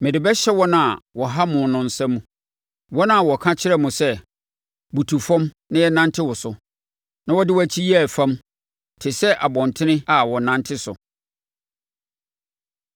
Mede bɛhyɛ wɔn a wɔha mo no nsa mu, wɔn a wɔka kyerɛɛ mo sɛ, ‘Butu fam na yɛnnante wo so.’ Na wode wʼakyi yɛɛ fam te sɛ abɔntene a wɔnante so.”